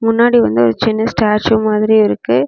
முன்னாடி வந்து சின்ன ஸ்டாச்சு மாதிரி இருக்கு.